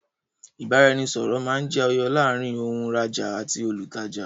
ìbáraẹnisọọ̀rọ̀ máa ń jẹ yọ láàrín òun rajá àti olùtajà